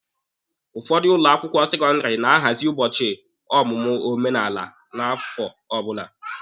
Ụfọdụ ụlọ akwụkwọ sekọndịrị na-ahazị ụbọchị ọmụmụ omenala n'afọ ọbụla.